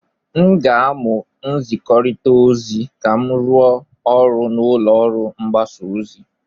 M ga-amụ nzikọrịta ozi ka m rụọ ọrụ n'ụlọ mgbasa ozi.